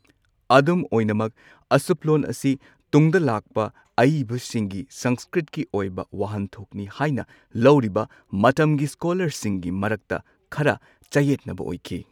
ꯑꯗꯨꯝ ꯑꯣꯏꯅꯃꯛ, ꯑꯁꯨꯞꯂꯣꯟ ꯑꯁꯤ ꯇꯨꯡꯗ ꯂꯥꯛꯄ ꯑꯏꯕꯁꯤꯡꯒꯤ ꯁꯪꯁꯀ꯭ꯔꯤꯠꯀꯤ ꯑꯣꯏꯕ ꯋꯥꯍꯟꯊꯣꯛꯅꯤ ꯍꯥꯏꯅ ꯂꯧꯔꯤꯕ ꯃꯇꯝꯒꯤ ꯁ꯭ꯀꯣꯂꯥꯔꯁꯤꯡꯒꯤ ꯃꯔꯛꯇ ꯈꯔ ꯆꯌꯦꯠꯅꯕ ꯑꯣꯏꯈꯤ꯫